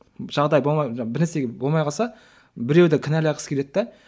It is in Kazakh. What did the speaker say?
жағдай болмай бір нәрсеге болмай қалса біреуді кінәлағысы келеді де